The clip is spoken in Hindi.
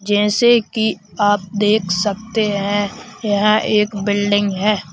जैसे कि आप देख सकते हैं यहां एक बिल्डिंग है।